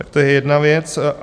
Tak to je jedna věc.